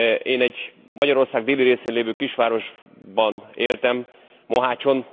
Én egy Magyarország déli részén lévő kisvárosban éltem, Mohácson.